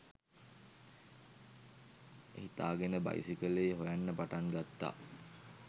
හිතාගෙන බයිසිකලේ හොයන්න පටන් ගත්තා.